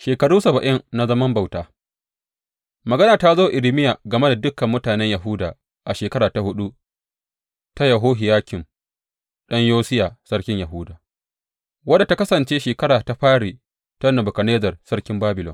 Shekaru saba’in na zaman bauta Magana ta zo wa Irmiya game da dukan mutanen Yahuda a shekara ta huɗu ta Yehohiyakim ɗan Yosiya sarkin Yahuda, wadda ta kasance shekara ta fari ta Nebukadnezzar sarkin Babilon.